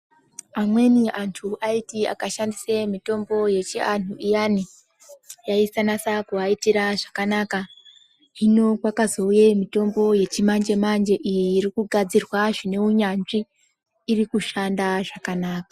Amweni antu aiti akashandise mitombo yechivantu iyani, yaisanasa kuvaitira zvakanaka. Hino kwakazouye mitombo yechimanje-manje iyi iri kugadzirwa zvine unyanzvi, iri kushanda zvakanaka.